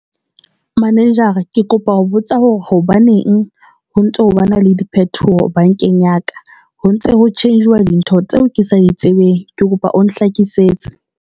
Manager-ra ke kopa ho botsa hore hobaneng ho ntso bana le diphetoho bankeng ya ka? Ho ntse ho charger-wa dintho tseo ke sa di tsebeng ke kopa o nhlakisetse.